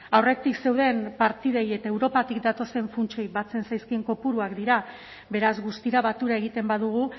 aurretik zeuden partidei eta europatik datozen funtsei batzen zaizkien kopuruak dira beraz guztira batura egiten badugu